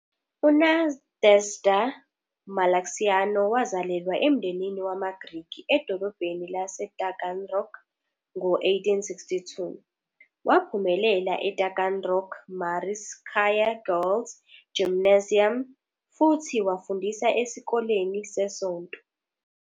UNadezhda Malaxiano wazalelwa emndenini wamaGrikhi edolobheni laseTaganrog ngo-1862. Waphumelela eTaganrog Mariinskaya Girls Gymnasium, futhi wafundisa esikoleni sesonto.